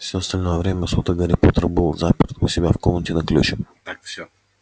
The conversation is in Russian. всё остальное время суток гарри поттер был заперт у себя в комнате на ключ так всё